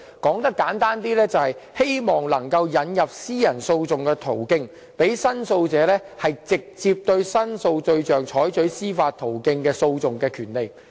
簡單而言，就是希望能夠引入私人訴訟的途徑，讓申訴者能直接對申訴對象提出司法訴訟。